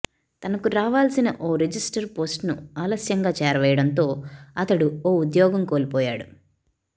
తనకు రావాల్సిన ఓ రిజిస్టర్ పోస్టును ఆలస్యంగా చేరవేయడంతో అతడు ఓ ఉద్యోగం కోల్పోయాడు